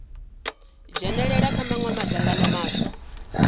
dzhenalela kha mawe madzangano maswa